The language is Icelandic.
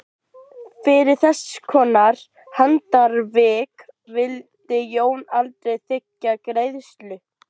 Fyrir þesskonar handarvik vildi Jón aldrei þiggja greiðslu.